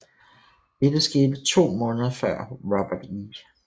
Dette skete to måneder før Robert E